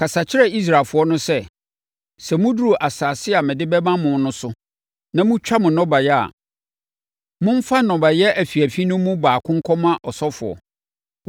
“Kasa kyerɛ Israelfoɔ no sɛ, ‘Sɛ moduru asase a mede bɛma mo no so na motwa mo nnɔbaeɛ a, momfa nnɔbaeɛ afiafi no mu baako nkɔma ɔsɔfoɔ.